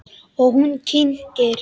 Og hún kyngir.